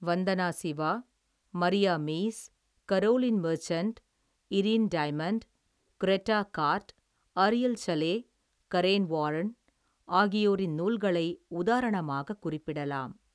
வந்தனா Shiva, Maria Mies, Caroline Merchant, Irene Diamond, Greta Gaard, Ariel Salleh, Karen Warren, ஆகியோரின் நூல்களை உதாரணமாக குறிப்பிடலாம்.